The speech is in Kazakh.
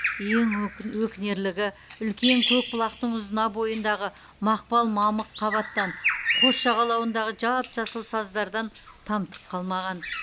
ең өкінерлігі үлкен көкбұлақтың ұзына бойындағы мақпал мамық қабаттан қос жағалауындағы жап жасыл саздардан тамтық қалмаған